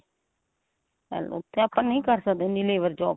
ਆਪਾਂ ਨਹੀਂ ਕਰ ਸਕਦੇ ਇੰਨੀ labour job